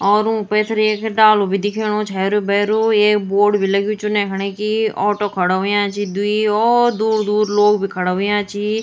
और ऊक पैथर एक डालू भी दिखयोणु च हेरू भैरू एक बोर्ड भी लग्युं च उने हणे की ऑटो खड़ो हुयां छी द्वि और दूर दूर लोग भी खड़ा हुयां छीं।